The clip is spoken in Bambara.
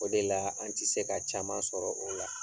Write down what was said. O de la an tɛ se ka caman sɔrɔ o la.